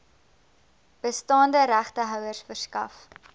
bestaande regtehouers verskaf